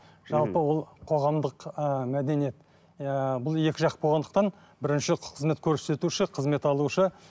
жалпы ол қоғамдық ыыы мәдениет ыыы бұл екі жақты болғандықтан бірінші қызмет көрсетуші қызметті алушы